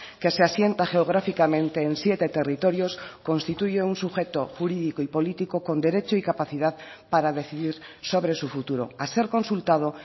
que se asienta geográficamente en siete territorios constituye un sujeto jurídico y político con derecho y capacidad para decidir sobre su futuro a ser consultado